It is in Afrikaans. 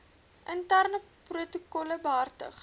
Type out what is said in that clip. interne protokolle behartig